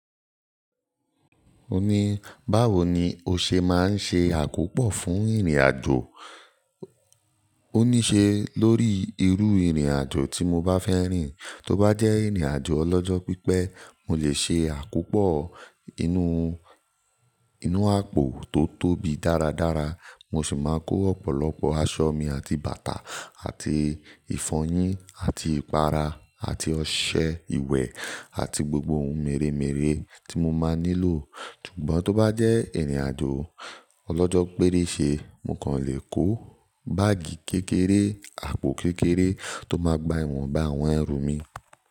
O ní, báwo ni o ṣe máa ń ṣe àkópọ̀ fún ìrìnàjò? Ó ní ṣe lórí irú ìrìnàjò tí mo bá fẹ́ rìn. Tó bá jẹ́ ìrìnàjò ọlọ́jọ́ pípẹ́, mo lè ṣe àkópọ̀ inú, inú àpò tó tóbi dáradára. Mo sì máa kó ọ̀pọ̀lọpọ̀ aṣọ mi àti bàtà àti ìfọyín àti ìpara àti ọṣẹ ìwẹ̀ àti gbogbo ohun mèremère tí mo máa nílò. Ṣùgbọ́n tó bá jẹ́ ìrìnàjò ọlọ́jọ́ péréṣe, mo kàn lè kó báàgì kékeré, àpò kékeré tó máa gba ìwọ̀nbá àwọn ẹrù mi.